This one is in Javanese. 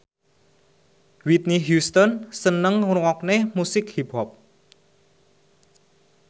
Whitney Houston seneng ngrungokne musik hip hop